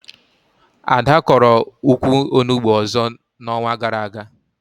Ada kọrọ ukwu Onugbu ọzọ na onwa gara aga